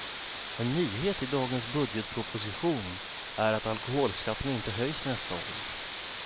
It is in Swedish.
En nyhet i dagens budgetproposition är att alkoholskatten inte höjs nästa år.